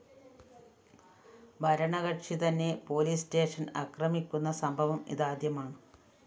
ഭരണകക്ഷി തന്നെ പോലീസ്‌സ്റ്റേഷന്‍ അക്രമിക്കുന്ന സംഭവം ഇതാദ്യമാണ്